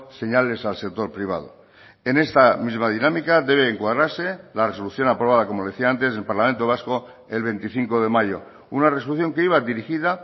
señales al sector privado en esta misma dinámica debe encuadrarse la resolución aprobada como decía antes del parlamento vasco el veinticinco de mayo una resolución que iba dirigida